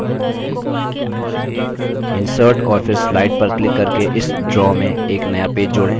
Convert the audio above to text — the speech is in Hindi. insert और फिर slide पर क्लिक करके इस draw में एक नया पेज जोड़ें